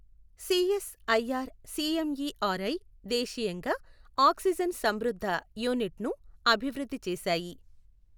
CS IR CMERI దేశీయంగా oxygen సమృద్ధ యూనిట్ను అభివృద్ధి చేశాయి.